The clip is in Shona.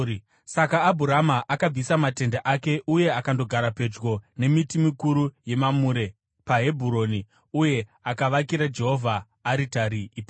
Saka Abhurama akabvisa matende ake uye akandogara pedyo nemiti mikuru yeMamure paHebhuroni, uye akavakira Jehovha aritari ipapo.